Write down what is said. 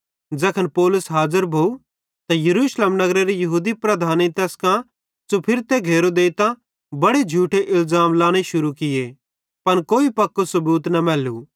ज़ैखन पौलुस हाज़र भोव त यरूशलेम नगरेरे यहूदी लीडरेईं तैस च़ुफुरतां घेरो देइतां बड़े झूठे इलज़ाम लांने शुरू किये पन कोई पक्कू सबूत न मैलू